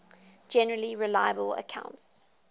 generally reliable accounts